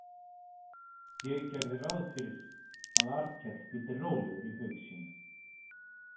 Ég gerði ráð fyrir að Arnkell hvíldi rólegur í haug sínum.